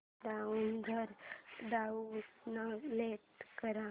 browser download कर